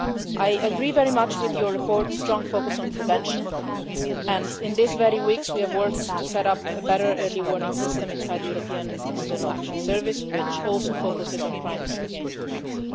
I very much agree with your report's strong focus on prevention, and in recent weeks we have worked to set up a better early warning system inside the European External Action Service, which also focuses on crimes against humanity.